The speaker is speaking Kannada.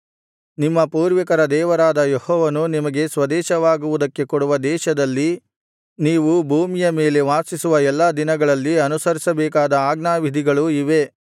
ನಿಮ್ಮ ಪೂರ್ವಿಕರ ದೇವರಾದ ಯೆಹೋವನು ನಿಮಗೆ ಸ್ವದೇಶವಾಗುವುದಕ್ಕೆ ಕೊಡುವ ದೇಶದಲ್ಲಿ ನೀವು ಭೂಮಿಯ ಮೇಲೆ ವಾಸಿಸುವ ಎಲ್ಲಾ ದಿನಗಳಲ್ಲಿ ಅನುಸರಿಸಬೇಕಾದ ಆಜ್ಞಾವಿಧಿಗಳು ಇವೇ